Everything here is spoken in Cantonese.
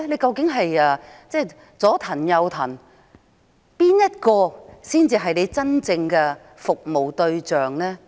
港鐵公司"左騰右騰"，但誰才是他們真正的服務對象？